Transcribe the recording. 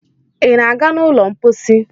ị na-aga n' ụlọ mposi?